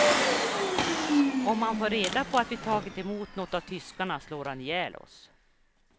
Om han får reda på att vi har tagit emot nåt av tyskarna slår han ihjäl oss.